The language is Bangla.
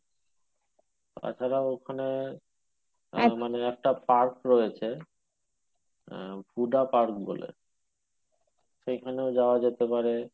তাছাড়া ওখানে মানে একটা park রয়েছে আহ park বলে সেইখানেও যাওয়া যেতে পারে